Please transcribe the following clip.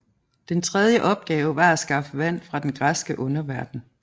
Den tredje opgave var at skaffe vand fra den græske underverden